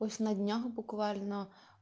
пусть на днях буквально